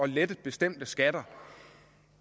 lette bestemte skatter